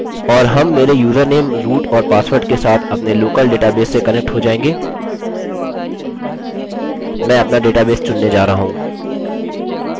और हम मेरे यूजरनेम root और पासवर्ड के साथ अपने लोकल डेटाबेस से कनेक्ट हो जायेंगे मैं अपना डेटाबेस चुनने जा रहा हूँ